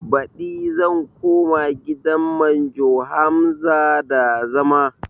Baɗi zan koma gidan manjo Hamza da zama